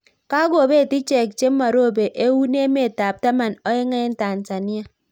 Kakopeet icheeck chemarope Eun emeet ap taman ak oeng eng tanzania